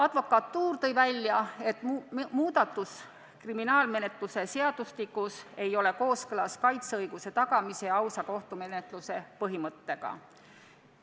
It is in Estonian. Advokatuur tõi välja, et kriminaalmenetluse seadustiku muudatus ei ole kooskõlas kaitseõiguse tagamise ja ausa kohtumenetluse põhimõttega.